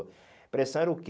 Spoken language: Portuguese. Depressão era o quê?